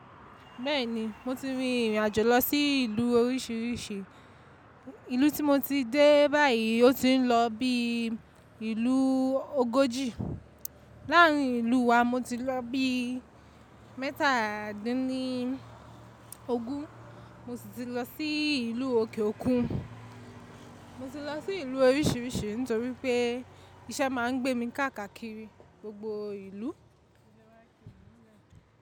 Bẹ́ẹ̀ni, mo ti rin ìrìn àjò lọ sí ìlú oríṣiríṣi. Ìlú tí mo ti dé báyìí ó ti ń lọ bí ìlú ogójì. Láàárín ìlú wá, mo ti lọ bí mẹ́tàdínlógún, mo si ti lọ sí ìlú òkè òkun. Mo ti lọ sí ìlú oríṣiríṣi nítorí pé iṣẹ́ máa ń gbé mi káàkiri gbogbo ìlú.